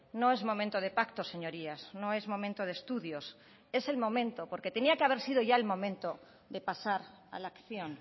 no es momento de pactos señorías no es momento de estudios es el momento porque tenía que haber sido ya el momento de pasar a la acción